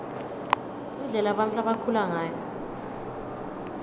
indlela bantfu labakhula ngayo